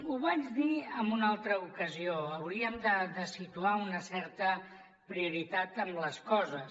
ho vaig dir en una altra ocasió hauríem de situar una certa prioritat en les coses